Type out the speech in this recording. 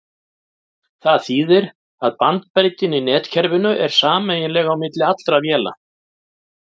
Það þýðir að bandbreiddin í netkerfinu er sameiginleg á milli allra véla.